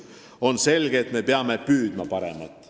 On selge, et peame püüdma paremat.